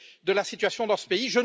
de la situation dans ce pays.